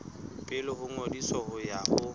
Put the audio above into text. pele ho ngodiso ho ya